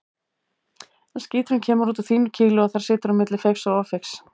En skíturinn kemur út úr þínu kýli og þar skilur á milli feigs og ófeigs.